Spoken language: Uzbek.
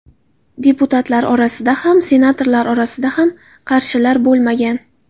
Deputatlar orasida ham, senatorlar orasida ham qarshilar bo‘lmagan.